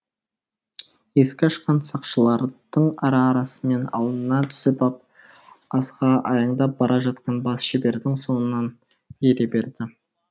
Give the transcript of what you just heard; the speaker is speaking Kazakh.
есік ашқан сақшылардың ара арасымен алдына түсіп ап асыға аяңдап бара жатқан бас шебердің соңынан ере берді